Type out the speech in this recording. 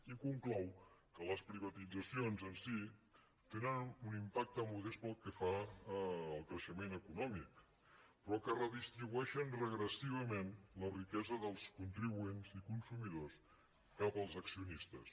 i conclou que les privatitzacions en si tenen un impacte modest pel que fa al creixement econòmic però que redistribueixen regressivament la riquesa dels contribuents i consumidors cap als accionistes